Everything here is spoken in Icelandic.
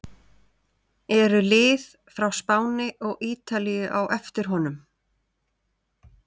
Eru lið frá Spáni og Ítalíu á eftir honum?